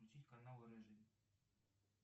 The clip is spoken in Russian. включить канал рыжий